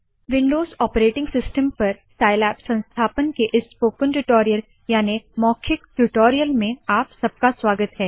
Windows operating system पर Scilab संस्थापन के इस स्पोकन ट्यूटोरियल याने मौखिक ट्यूटोरियल में आप सबका स्वागत है